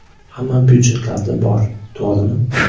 Hamma byudjetlarda bor, to‘g‘rimi?